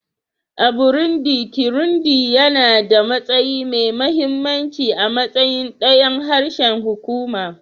A Burundi, Kirundi yana da matsayi mai mahimmanci a matsayin ɗayan harshen hukuma